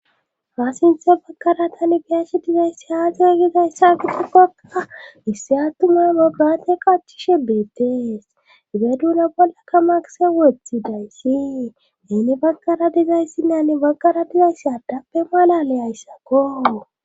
Paassinthe baggara tani biyashi dizayssi haa soygizayssa gidi gokka issi attumaamo graate qachishe beettees ize duna bollaka makise wothi dayssi neni baggara dizayssinnani baggara dizayssi addappe malale ayssakko.